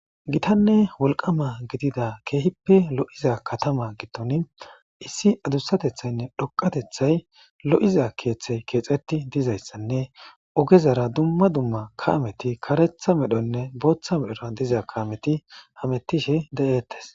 Gitanne wolqama gidida keehippe lo'iza katama gidon issi adusatethaynne dhoqatethay lo'iza keethay keexeti utidaysanne ogezara dumma dumma kameti karetha medhonne bootha medhoy diza kameti hametishe de'etes